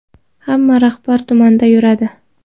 Hamma rahbar tumanda yuradi.